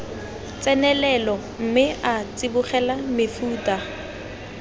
tsenelelo mme a tsibogela mefuta